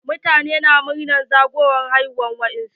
Mutane na murnar zagowar ranar haihuwa wa yaran su.